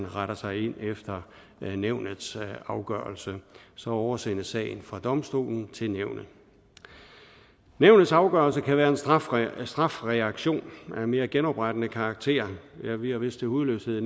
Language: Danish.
retter ind efter nævnets afgørelse så oversendes sagen fra domstolen til nævnet nævnets afgørelse kan være en strafreaktion strafreaktion af mere genoprettende karakter vi har vist til hudløshed